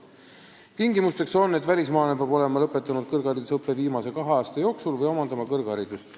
Tingimusteks on, et välismaalane peab olema lõpetanud kõrgharidusõppe viimase kahe aasta jooksul või omandama kõrgharidust.